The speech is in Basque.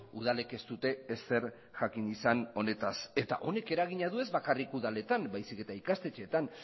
udalek ez dute ezer jakin izan honetaz eta honek eragina du ez bakarrik udaletan baizik eta ikastetxeetan